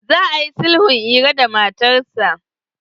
Za a yi sulhun Iro da matarsa.